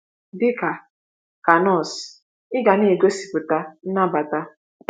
“ Dị ka ka nọọsụ, ị ga na - egosipụta nnabata.